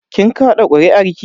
Kin kaɗa kuri'arki?